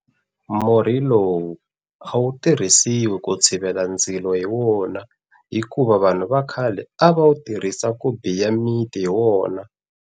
Murhi lowu a wu tirhisiwi ku tshivela ndzilo hi wona hikuva vanhu va khale a va wu tirhisa ku biya miti hi wona.